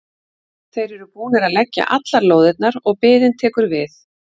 Þeir eru búnir að leggja allar lóðirnar og biðin tekur við.